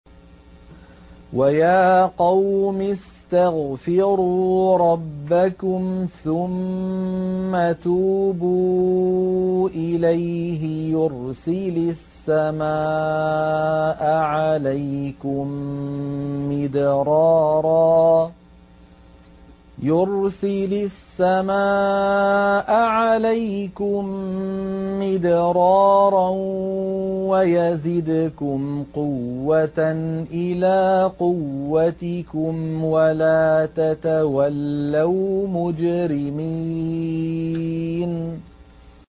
وَيَا قَوْمِ اسْتَغْفِرُوا رَبَّكُمْ ثُمَّ تُوبُوا إِلَيْهِ يُرْسِلِ السَّمَاءَ عَلَيْكُم مِّدْرَارًا وَيَزِدْكُمْ قُوَّةً إِلَىٰ قُوَّتِكُمْ وَلَا تَتَوَلَّوْا مُجْرِمِينَ